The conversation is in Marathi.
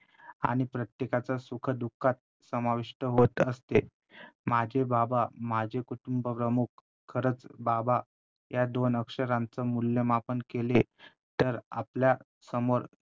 आणि प्रत्येकाच्या सुखदुःखात समाविष्ट होत असते माझे बाबा माझे कुटुंबप्रमुख खरंच बाबा या दोन अक्षरांच मूल्यमापन केले तर आपल्यासमोर